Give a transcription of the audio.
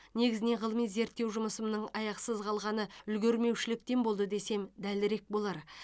негізінен ғылыми зерттеу жұмысымның аяқсыз қалғаны үлгермеушіліктен болды десем дәлірек болар